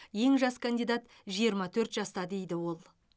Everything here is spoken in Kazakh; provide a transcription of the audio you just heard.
ең жас кандидат жиырма төрт жаста дейді ол